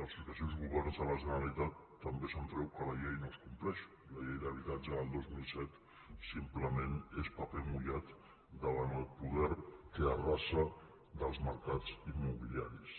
dels successius governs de la generalitat també se’n treu que la llei no es compleix la llei d’habitatge del dos mil set simplement és paper mullat davant del poder que arrasa dels mercats immobiliaris